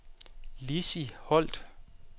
Lissi Holt